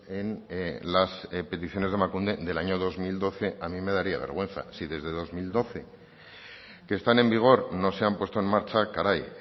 en las peticiones de emakunde del año dos mil doce a mí me daría vergüenza si desde dos mil doce que están en vigor no se han puesto en marcha caray